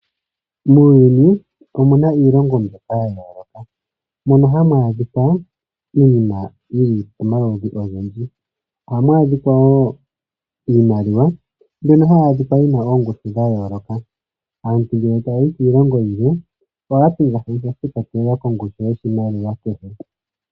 Muuyuni omuna iilongo mbyoka ya yooloka mono hamu adhika iinima yili pamaludhi ogendji. Ohamu adhika wo iimaliwa mbyono hayi adhika yina oongushu dha yooloka. Aantu ngele taya yi kiilongo yilwe ohaya pingakanitha shi ikwatelela kongushu yoshimaliwa kehe.